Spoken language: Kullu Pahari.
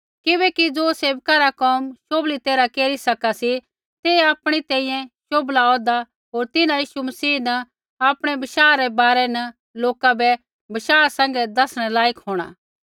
किबैकि ज़ो सेवका रा कोम शोभली तैरहा केरी सका सी ते आपणी तैंईंयैं शोभला औह्दा होर तिन्हां यीशु मसीह न आपणै बशाह रै बारै न लोका बै बशाह सैंघै दसणै लायक होंणा